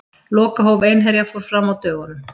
Lokahóf Einherja fór fram á dögunum.